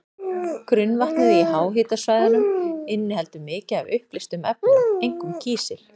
Grunnvatnið í háhitasvæðunum inniheldur mikið af uppleystum efnum, einkum kísil.